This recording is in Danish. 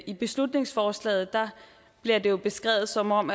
i beslutningsforslaget bliver det jo beskrevet som om